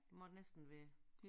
Må det næsten være